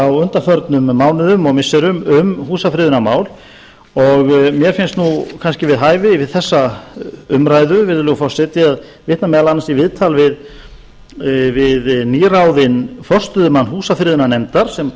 á undanförnum mánuðum og missirum um húsafriðunarmál og mér finnst kannski við hæfi við þessa umræðu virðulegur forseti að vitna meðal annars í viðtal við nýráðinn forstöðumann húsafriðunarnefndar sem